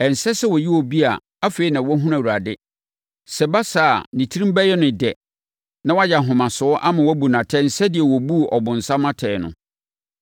Ɛnsɛ sɛ ɔyɛ obi a afei na wahunu Awurade; sɛ ɛba saa a, ne tirim bɛyɛ no dɛ na wayɛ ahomasoɔ ama wɔabu no atɛn sɛdeɛ wɔbuu ɔbonsam atɛn no.